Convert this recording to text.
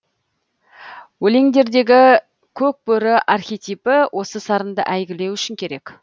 өлеңдердегі көк бөрі архетипі осы сарынды әйгілеу үшін керек